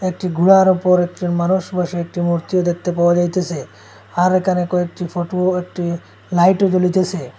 একটি ঘোড়ার ওপর একজন মানুষ বসে একটি মূর্তিও দেখতে পাওয়া যাইতেসে আর এখানে কয়েকটি ফটো একটি লাইট ও জ্বলিতেসে।